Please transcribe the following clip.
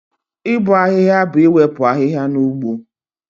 Ịbọ ahịhịa bụ iwepụ ahịhịa na ugbo